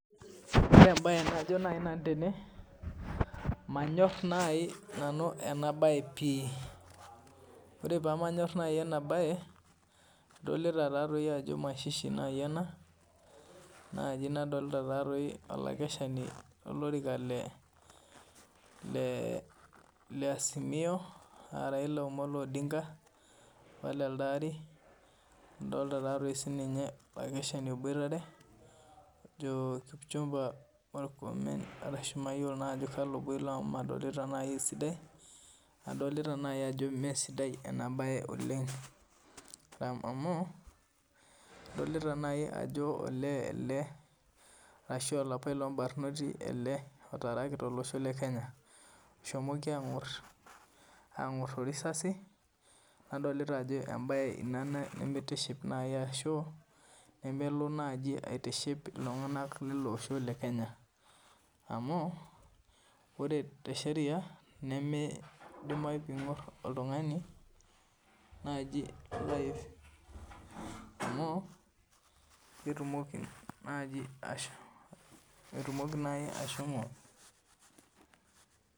Ore mbae naaji nanu naa manyor ena mbae pii ore pee manyor ena mbae adolita Ajo mashishi ena nadolita olakeshena lolorika lee Azimio aa Raila Omolo Odinga apa telede Ari adolita sininye olakeshani aboitare ojo kipchumba mukrumen ashu mayiolo Ajo kalo elo amu nadolita esidai adolita naaji Ajo mee sidai ena mbae oleng amu ole lee arashu olapailog barnoti ele otaraki tolosho lee Kenya oshomki aing'or too risasi nadolita Ajo mbae ena nimitiship ashu nemelo naaji aitiship iltung'ana leilo Osho lee Kenya amu ore tesheria nimidimayu pingor oltung'ani naaji life amu ketumoki naaji ashomo